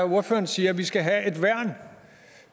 ordføreren siger at vi skal have